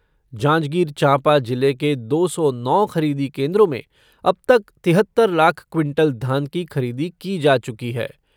जांजगीर चांपा जिले के दो सौ नौ खरीदी केन्द्रों में अब तक तिहत्तर लाख क्विंटल धान की खरीदी की जा चुकी है।